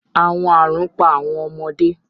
Awọn arun pa awọn ọmọde